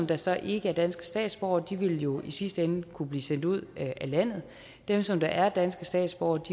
der så ikke er danske statsborgere vil jo i sidste ende kunne blive sendt ud af landet og dem som er danske statsborgere